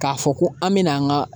K'a fɔ ko an bɛna an ka